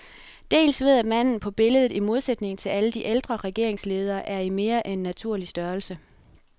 Dels ved at manden på billedet, i modsætning til alle de ældre regeringsledere, er i mere end naturlig størrelse.